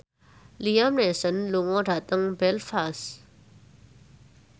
Liam Neeson lunga dhateng Belfast